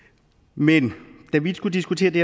men da vi skulle diskutere det